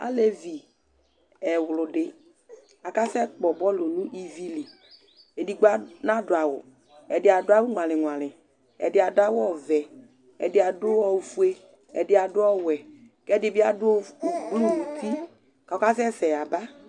Alevi ɛwlʋdɩ akasɛkpɔ bɔlʋ nʋ ivi li Edigbo ad nadʋ awʋ Ɛdɩ adʋ awʋ ŋʋalɩ-ŋʋalɩ Ɛdɩ adʋ awʋ ɔvɛ Ɛdɩ adʋ ofue Ɛdɩ adʋ ɔwɛ kʋ ɛdɩ bɩ adʋ of blu nʋ uti kʋ ɔkasɛsɛ yaba